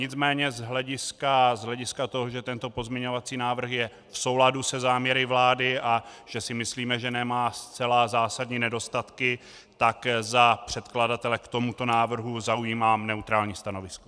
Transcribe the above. Nicméně z hlediska toho, že tento pozměňovací návrh je v souladu se záměry vlády a že si myslíme, že nemá zcela zásadní nedostatky, tak za předkladatele k tomuto návrhu zaujímám neutrální stanovisko.